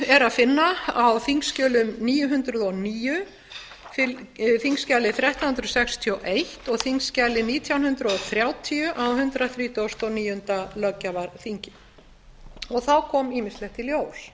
er að finna á þingskjali níu hundruð og níu þrettán hundruð sextíu og eins og nítján hundruð þrjátíu á hundrað þrítugasta og níunda löggjafarþingi þá kom ýmislegt í ljós